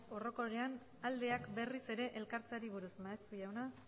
orokorrean aldeak berriz ere elkartzeari buruz maeztu jauna